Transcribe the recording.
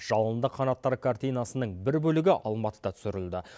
жалынды қанаттар картинасының бір бөлігі алматыда түсірілді